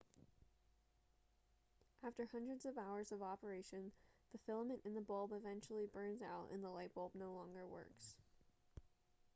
after hundreds of hours of operation the filament in the bulb eventually burns out and the light bulb no longer works